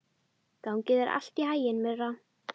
Gangi þér allt í haginn, Myrra.